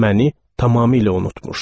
Məni tamamilə unutmuşdu.